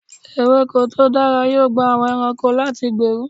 Ewéko tó dára yóò gba àwọn ẹranko láyè láti gbèrú.